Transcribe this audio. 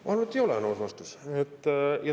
Ma arvan, et ei ole, on aus vastus.